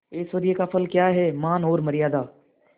ऐश्वर्य का फल क्या हैमान और मर्यादा